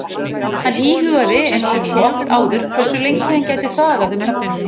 Hann íhugaði einsog svo oft áður hversu lengi hann gæti þagað um nöfnin?